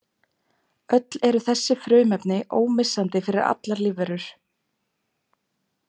Öll eru þessi frumefni ómissandi fyrir allar lífverur.